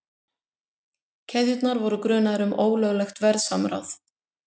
Keðjurnar voru grunaðar um ólöglegt verðsamráð